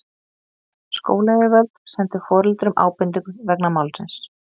Skólayfirvöld sendu foreldrum ábendingu vegna málsins